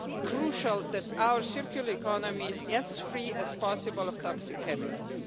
crucial that our circular economies are as free as possible of toxic chemicals.